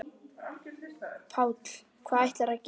Páll: Hvað ætlarðu að gera?